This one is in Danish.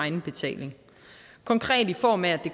egenbetaling konkret i form af at